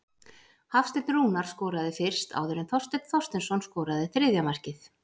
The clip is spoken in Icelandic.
Hafsteinn Rúnar skoraði fyrst áður en Þorsteinn Þorsteinsson skoraði þriðja markið.